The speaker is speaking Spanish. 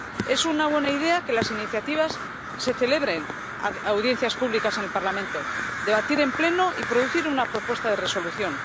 Es una buena idea que sobre las iniciativas se celebren audiencias públicas en el Parlamento, que se debatan en Pleno y se produzca una propuesta de resolución.